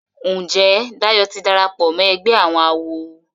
Njé Dayo tí darapọ̀ mọ ègbé àwọn àwo?